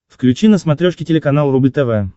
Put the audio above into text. включи на смотрешке телеканал рубль тв